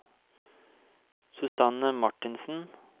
Susanne Marthinsen